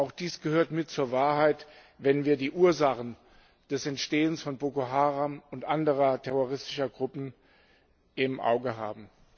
Auch dies gehört mit zur Wahrheit, wenn wir die Ursachen des Entstehens von Boko Haram und anderen terroristischen Gruppen im Auge haben.